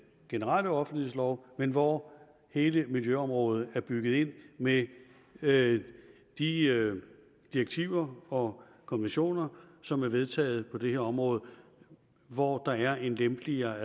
generelle offentlighedslov men hvor hele miljøområdet er bygget ind med med de direktiver og konventioner som er vedtaget på det her område og hvor der er en lempeligere